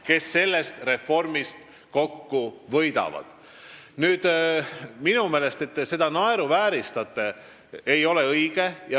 Minu meelest ei ole see, et te seda naeruvääristate, õige.